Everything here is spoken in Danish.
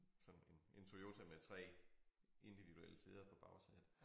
Sådan en en Toyota med 3 individuelle sæder på bagsædet